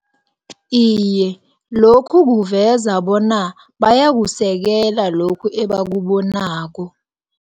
Iye, lokhu kuveza bona, bayakusekela lokhu ebakubonako.